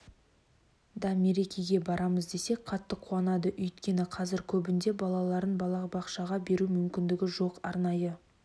да мерекеге барамыз десек қатты қуанады өйткені қазір көбінде балаларын балабақшаға беру мүмкіндігі жоқ арнайы